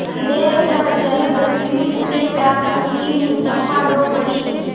अंधेर है जलदस्यु तुम्हें प्यार करती हूँ चंपा रो पड़ी